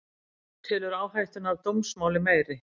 Telur áhættuna af dómsmáli meiri